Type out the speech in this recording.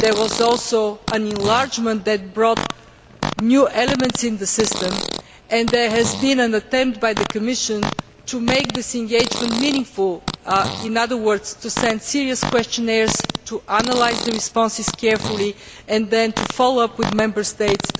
There was also an enlargement that brought new elements into the system and there has been an attempt by the Commission to make this engagement meaningful in other words, to send serious questionnaires, to analyse the responses carefully and then to follow up with Member States.